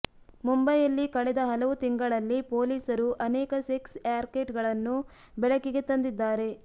ಮುಂಬೈಯಲ್ಲಿ ಕಳೆದ ಹಲವು ತಿಂಗಳಲ್ಲಿ ಪೊಲೀಸರು ಅನೇಕ ಸೆಕ್ಸ್ ರ್ಯಾಕೆಟ್ಗಳನ್ನು ಬೆಳಕಿಗೆ ತಂದಿದ್ದಾರೆ